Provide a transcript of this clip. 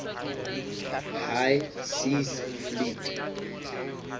high seas fleet